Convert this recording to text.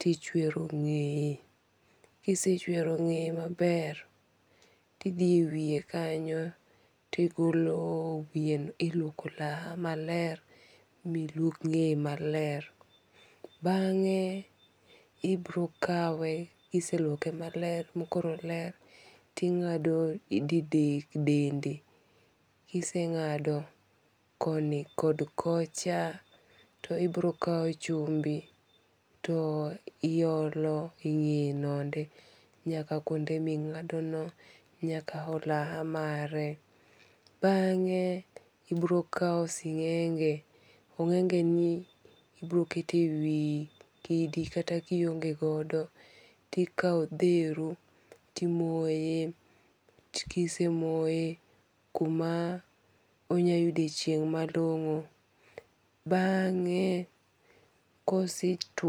tichwero ng'eye. Kisechwero ng'eye maber, ti dhi e wiye kanyo to iluoko olaha maler miluok ng'eye maler. Bang'e ibiro kawe kiseluoke maler makoro oler ting'ado didek dende. Kiseng'ado koni kod kocha to ibiro kaw chumbi to iolo e ng'eye no ende nyak kuonde ming'ado no nyaka olaha mare. Bang'e ibiro kaw sing'enge. Ong'ege ni ibiro keto e wi kidi kata kionge godo tikaw odheru timoye. Kisemoye kuma onya yude chieng' malongo. Bange kose tuo...